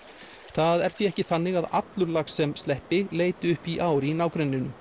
það er því ekki þannig að allur lax sem sleppur leiti upp í ár í nágrenninu